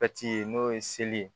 n'o ye seli ye